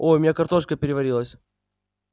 ой у меня картошка переварилась